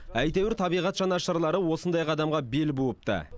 әйтеуір табиғат жанашырлары осындай қадамға бел буыпты